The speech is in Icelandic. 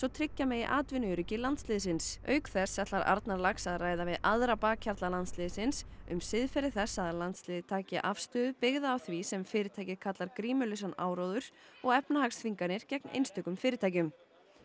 tryggja megi atvinnuöryggi landsliðsins auk þess ætlar Arnarlax að ræða við aðra bakhjarla landsliðsins um siðferði þess að landsliðið taki afstöðu byggða því sem fyrirtækið kallar grímulausan áróður og efnahagsþvinganir gegn einstökum fyrirtækjum